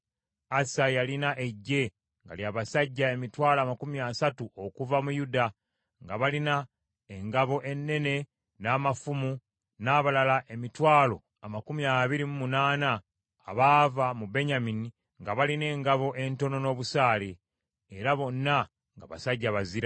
Asa yalina eggye nga lya basajja emitwalo amakumi asatu okuva mu Yuda, nga balina engabo ennene n’amafumu, n’abalala emitwalo amakumi abiri mu munaana abaava mu Benyamini nga balina engabo entono n’obusaale, era bonna nga basajja bazira.